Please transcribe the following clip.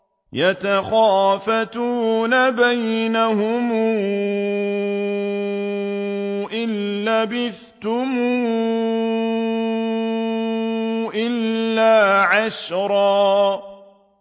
يَتَخَافَتُونَ بَيْنَهُمْ إِن لَّبِثْتُمْ إِلَّا عَشْرًا